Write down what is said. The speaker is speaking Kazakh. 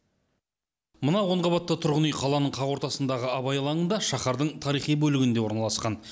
мына он қабатты тұрғын үй қаланың қақ ортасындағы абай алаңында шаһардың тарихи бөлігінде орналасқан